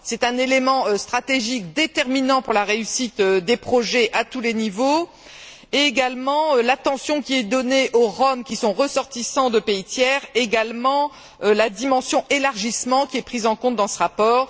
C'est un élément stratégique déterminant pour la réussite des projets à tous les niveaux, au même titre que l'attention qui est donnée aux Roms qui sont ressortissants de pays tiers, ainsi que la dimension élargissement, qui est prise en compte dans ce rapport.